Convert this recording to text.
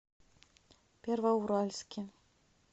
первоуральске